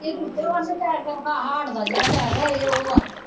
ਇਹ ਉੱਪਰੋਂ ਹਾਲ ਵਾ ਜਿਹੜਾ ਇਹ ਉਹ ਵਾ